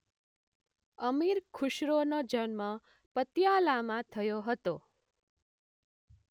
અમીર ખુશરોનો જન્મ પતિયાલામાં થયો હતો